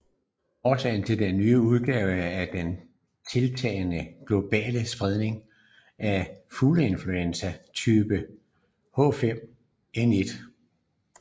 Årsagen til denne nye udgave er den tiltagende globale spredning af fugleinfluenza af typen H5N1